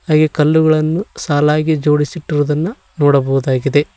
ಹಾಗೆ ಕಲ್ಲುಗಳನ್ನು ಸಾಲಾಗಿ ಜೋಡಿಸಿಟ್ಟುವುದನ್ನು ನೋಡಬಹುದಾಗಿದೆ.